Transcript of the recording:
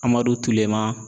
Amadu Tulema